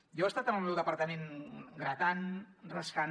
jo he estat en el meu departament gratant rascant